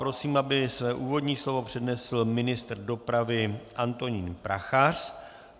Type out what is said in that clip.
Prosím, aby své úvodní slovo přednesl ministr dopravy Antonín Prachař.